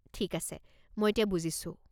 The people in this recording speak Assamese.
ঠিক আছে, মই এতিয়া বুজিছো।